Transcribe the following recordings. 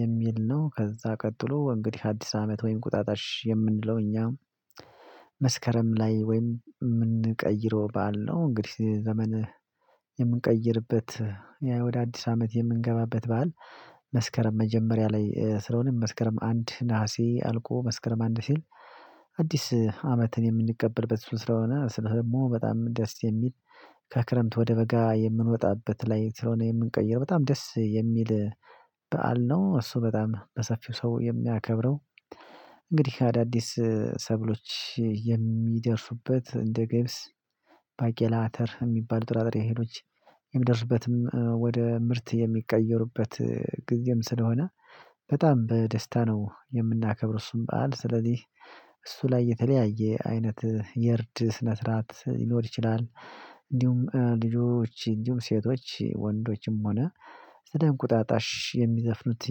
የሚል ነው። ከዛ ቀጥሎ እንግዲህ አዲስ አመት ወይም ቁጣጣሽ የምንለው እኛ መስከረም ላይ ወይም የምንቀይረው ባል ነው። እንግዲህ ዘመን የምንቀይርበት ወደ አዲስ አመት የምንገባበት በዓል። መጀመሪያ ላይ ስለሆነ መስከረም አንድ ነሀሴ አልቆ መስከረም አንድ ሲል አዲስ አመትን የምንቀበልበት ስለሆነ ስለሰሙ በጣም ደስ የሚል ከክረምት ወደ በጋ የምንወጣበት ላይ ስለሆነ የምንቀይረው በጣም ደስ የሚል በዓል ነው። እሱ በጣም በሰፊው ሰው የሚያከብረው እንግዲህ አዳዲስ ሰብሎች የሚደርሱበት እንደ ገብስ። የሚባል ጥራጥሬ ሄዶች የምደርስበትም ወደ ምርት የሚቀየሩበት ጊዜም ስለሆነ። በጣም በደስታ ነው የምናከብር እሱን በዓል ስለዚህ እሱ ላይ የተለያየ አይነት የርድ ስነ ስርዓት ይኖር ይችላል። እንዲሁም ልጆች እንዲሁም ሴቶች ወንዶችም ሆነ ስደን ቁጣጣሽ የሚዘፍኑት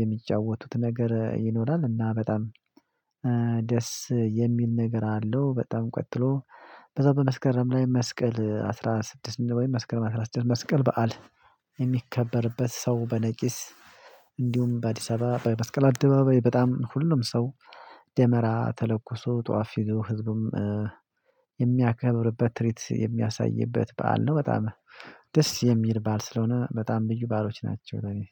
የሚጫወቱት ነገር ይኖራል። እና በጣም ደስ የሚል ነገር አለው። በጣም ቀጥሎ በዛው በመስከረም ላይ መስቀል አስራ ስድስት ወይ መስቀል አስራ ስድስት መስቀል በዓል። የሚከበርበት ሰው በነቂስ እንዲሁም በአዲስ አበባ በመስቀል አደባባይ በጣም ሁሉም ሰው ደመራ ተለኮሶ ጧፍ ይዞ ህዝብም የሚያከብርበት ትርጉም የሚያሳይበት በዓል ነው። በጣም ደስ የሚል ባል ስለሆነ በጣም ብዩ ባሎች ናቸው። እኔ